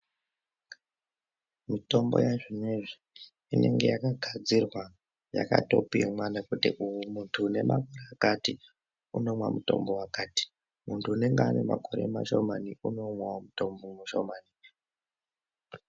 Mutombo yazvinezvi inenge yakagadzirwa yakatopimwa nekuti uyu muntu une makore akati unomwa mutombo wakati, muntu unenge une makore mashomani inomwawo mutombo mushomani.